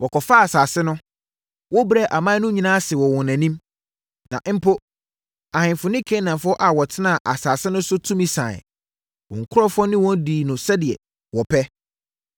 Wɔkɔfaa asase no. Wobrɛɛ aman no nyinaa ase wɔ wɔn anim. Na, mpo, ahemfo ne Kanaanfoɔ a wɔtenaa asase no so no tumi saeɛ. Wo nkurɔfoɔ ne wɔn dii no sɛdeɛ wɔpɛ.